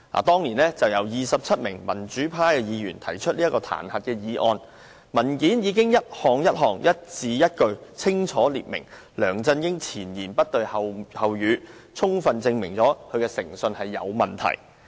當年由27位民主派議員提出的彈劾議案，文件已經一項一項、一字一句清楚列明梁振英前言不對後語，充分證明他的誠信有問題。